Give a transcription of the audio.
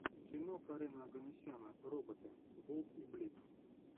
кино карена оганесяна роботы болт и блип